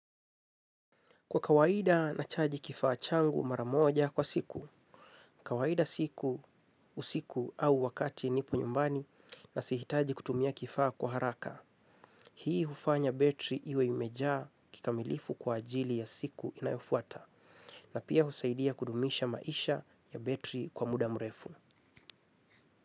Kwa kawaida na chaji kifaa changu maramoja kwa siku, kawaida siku usiku au wakati nipo nyumbani na sihitaji kutumia kifaa kwa haraka. Hii hufanya betri iwe imejaa kikamilifu kwa ajili ya siku inayofuata na pia husaidia kudumisha maisha ya betri kwa muda mrefu.